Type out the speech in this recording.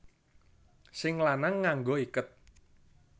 Sing lanang nganggo iket